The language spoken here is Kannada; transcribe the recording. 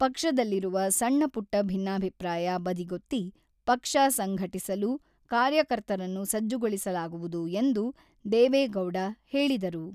ಪಕ್ಷದಲ್ಲಿರುವ ಸಣ್ಣಪುಟ್ಟ ಭಿನ್ನಾಭಿಪ್ರಾಯ ಬದಿಗೊತ್ತಿ ಪಕ್ಷ ಸಂಘಟಿಸಲು ಕಾರ್ಯಕರ್ತರನ್ನು ಸಜ್ಜುಗೊಳಿಸಲಾಗುವುದು ಎಂದು ದೇವೆಗೌಡ ಹೇಳಿದರು.